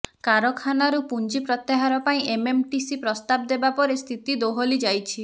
କାରଖାନାରୁ ପୁଞ୍ଜି ପ୍ରତ୍ୟାହାର ପାଇଁ ଏମଏମଟିସି ପ୍ରସ୍ତାବ ଦେବା ପରେ ସ୍ଥିତି ଦୋହଲି ଯାଇଛି